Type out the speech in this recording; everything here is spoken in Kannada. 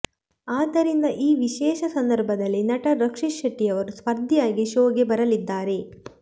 ಆದ್ದರಿಂದ ಈ ವಿಶೇಷ ಸಂದರ್ಭದಲ್ಲಿ ನಟ ರಕ್ಷಿತ್ ಶೆಟ್ಟಿ ಅವರು ಸ್ಪರ್ಧಿಯಾಗಿ ಶೋಗೆ ಬರಲಿದ್ದಾರೆ